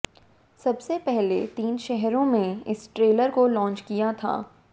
सबसे पहले तीन शहरों में इस ट्रेलर को लांच किया था